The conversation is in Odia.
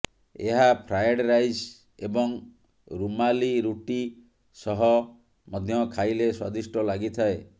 ଏହା ଫ୍ରାଏଡ୍ ରାଇସ୍ ଏବଂ ରୁମାଲି ରୁଟି ସହ ମଧ୍ୟ ଖାଇଲେ ସ୍ୱାଦିଷ୍ଟ ଲାଗିଥାଏ